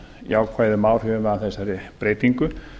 jákvæðum áhrifum af þessari breytingu